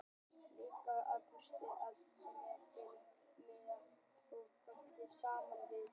Læknirinn bauð okkur að stífa fæturna, mylja beinin og græða fótarbeinin saman við ökklana.